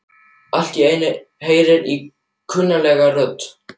Allt í einu heyri ég kunnuglega rödd.